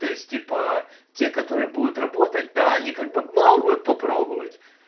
то есть типа те которые будут работать да они как бы могут попробовать